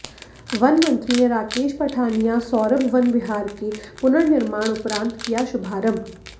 one मंत्री ने राकेश पठानिया सौरभ वन विहार के पुननिर्माण उपरांत किया शुभारंभ